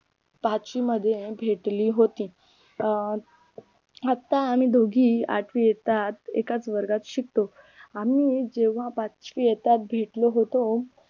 पाचवी मध्ये भेटली होती अं आता आम्ही दोघी आठवी इयतात एकाच वर्गात शिकतो आम्ही जेव्हा पाचवीत इयतात भेटलो होतो